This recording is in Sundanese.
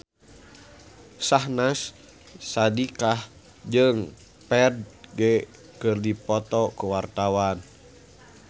Syahnaz Sadiqah jeung Ferdge keur dipoto ku wartawan